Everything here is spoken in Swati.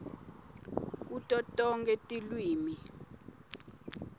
kuto tonkhe tilwimi